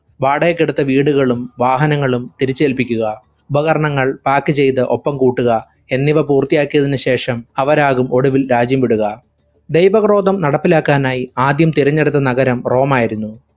വാടകയ്‌ക്കെടുത്ത വീടുകളും വാഹനങ്ങളും തിരിച്ചേല്പിക്കുക. ഉപകരണങ്ങൾ pack ചെയ്ത ഒപ്പം കൂട്ടുക. എന്നിവ പൂർത്തിയാക്കിയതിനു ശേഷം അവരാകും ഒടുവിൽ രാജ്യം വിടുക. ധൈവ ക്രോധം നടപ്പിലാക്കാനായ് ആദ്യം തിരഞ്ഞെടുത്ത നഗരം റോമായിരുന്നു.